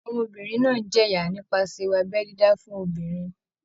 Ọmọbìnrin náà ń jẹ̀yà nípasẹ̀ ewu abẹ́ dídá fún obìnrin.